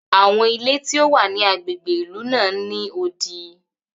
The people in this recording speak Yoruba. Awọn ilé ti o wa ni agbègbè ìlú náà n ni odi.